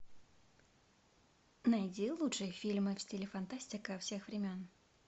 найди лучшие фильмы в стиле фантастика всех времен